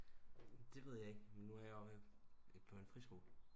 Det ved jeg ikke men nu er jeg jo på en friskole